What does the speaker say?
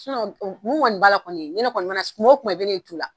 mun ŋɔni b'a la kɔni ni ne kɔni mana s kumo kuma i be ne ye tu la.